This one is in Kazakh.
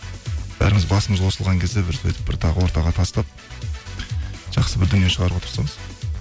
бәріміз басымыз қосылған кезде бір сөйтіп бір тағы ортаға тастап жақсы бір дүние шығаруға тырысамыз